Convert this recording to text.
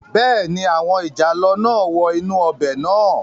Bẹ́ẹ̀ni, àwọn ìjàlọ náà wọ inú ọbẹ̀ náà